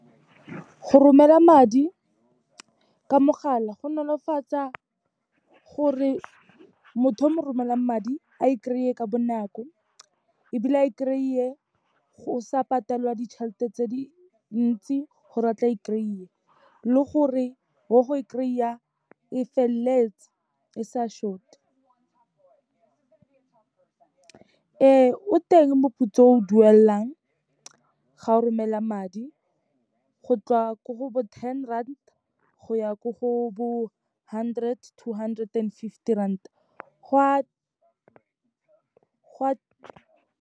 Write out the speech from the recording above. Go romela madi ka mogala, go nolofatsa gore motho o mo romelang madi, a e kry-e ka bonako, ebile a e kry-e go sa patelwa ditšhelete tse dintsi gore a tle a e kry-e, le gore wa go e kry-a e feleletse e sa short-e. Ee o teng moputso o o duelang ga o romela madi, go ko go bo ten rand, go ya ko go bo hundred to hundred and fifty rand, gwa.